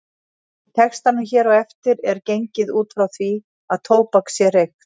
Í textanum hér á eftir er gengið út frá því að tóbak sé reykt.